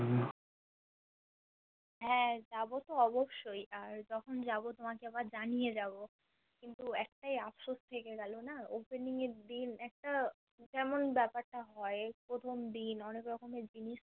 হা যাবো তো অবশ্যই আর যখন যাবো তোমাকে এবার জানিয়ে যাবো কিন্তু একটাই আফসোস থেকে না গেলো Opening এর দিন একটা কেমন বেপারটা হয় প্রথম দিন অনেক রকমের জিনিস